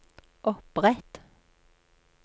opprett